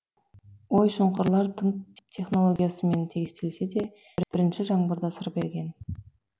ой шұңқырлар тың технологиямен тегістелсе де бірінші жаңбырда сыр берген